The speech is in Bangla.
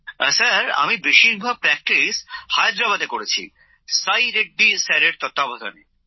অম্লানঃ আমি বেশিরভাগ অনুশীলন হায়দ্রাবাদে করেছি সাই রেড্ডি স্যারের তত্ত্বাবধানে